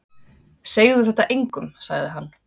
Segðu þetta engum sagði hann.